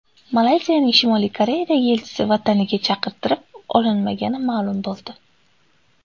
Malayziyaning Shimoliy Koreyadagi elchisi vataniga chaqirtirib olinmagani ma’lum bo‘ldi.